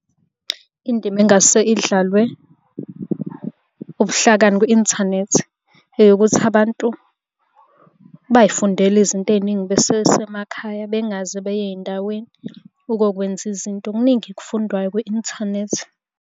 Indima engase idlalwe ubuhlakani kwi-inthanethi eyokuthi abantu bay'fundele izinto ey'ningi besesemakhaya bengaze beye ey'ndaweni ukokwenza izinto. Kuningi okufundwayo kwi-inthanethi.